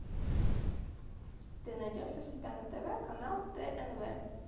ты найдешь у себя на тв канал тнв